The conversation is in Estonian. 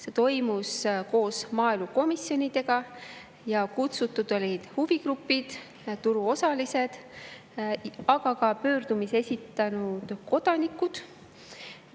See toimus koos maaelukomisjoniga ja kohale olid kutsutud huvigrupid, turuosalised, aga ka pöördumise esitanud kodanikud.